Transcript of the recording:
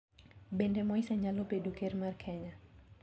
Bende Moise nyalo bedo ker Kenya?